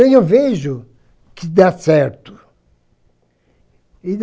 eu vejo que dá certo.